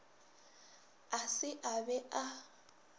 a se a be a